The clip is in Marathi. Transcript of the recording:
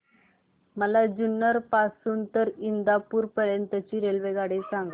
मला जुन्नर पासून तर इंदापूर पर्यंत ची रेल्वेगाडी सांगा